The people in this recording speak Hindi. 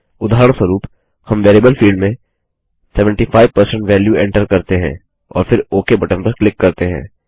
उदाहरणस्वरूप हम वेरिएबल फील्ड में 75 वेल्यू एंटर करते हैं और फिर ओक बटन पर क्लिक करते हैं